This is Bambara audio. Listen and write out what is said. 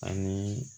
Ani